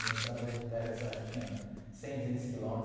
Uma estrada de terra assim, acho que tinha cem, duzentos quilômetros.